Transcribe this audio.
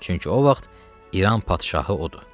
Çünki o vaxt İran padşahı odur.